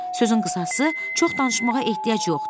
Sözün qısası, çox danışmağa ehtiyac yoxdur.